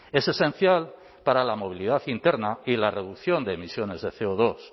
es esencial para la movilidad interna y la reducción de emisiones de ce o dos